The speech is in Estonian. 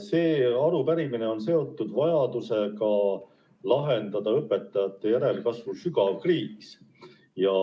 See arupärimine on seotud vajadusega lahendada õpetajate järelkasvu sügav kriis.